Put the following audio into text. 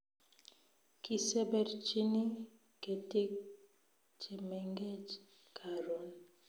Kiseberchini ketik chemengech karoon